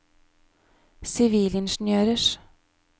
sivilingeniørers